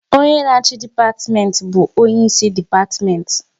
Onye na achị dipatimenti bụ onye isi depatimenti